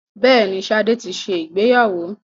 Bẹ́ẹ̀ni, Ṣadé ti ṣe ìgbéyàwó.